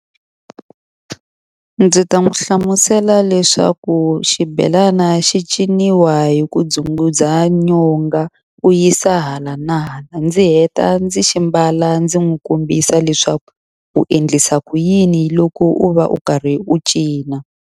Ndzi ta n'wi hlamusela leswaku xibelani xi ciniwa hi ku dzumbudza nyonga, u yisa hala na hala. Ndzi heta ndzi xi mbala ndzi n'wi kombisa leswaku u endlisa ku yini loko u va u karhi u cina.